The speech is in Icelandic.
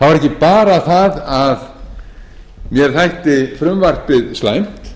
það var ekki bara það að mér þætti frumvarpið slæmt